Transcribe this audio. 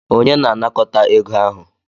Onye na anakọta ego ahụ?